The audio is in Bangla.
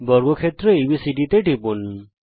বর্গক্ষেত্র এবিসিডি তে টিপুন